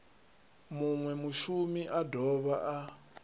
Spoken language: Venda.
munwe mushumi a dovha a